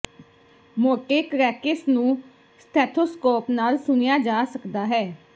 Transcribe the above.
ਮੋਟੇ ਕਰੈਕੇਸ ਨੂੰ ਸਟੇਥੋਸਕੋਪ ਨਾਲ ਸੁਣਿਆ ਜਾ ਸਕਦਾ ਹੈ